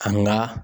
An ga